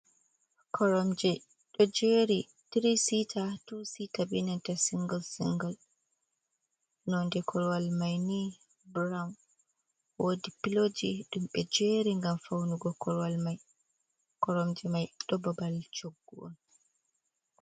Koromje do jeri tiri sita, tuwu sita, benanta single single nonde korwal mai ni brown wodi piloji dumbe jeri gam faunugo koromje mai do babal coggu on.